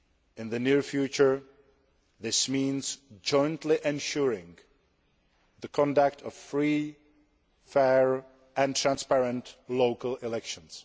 In the near future, this means jointly ensuring the conduct of free, fair and transparent local elections.